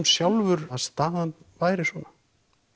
sjálfur að staðan væri svona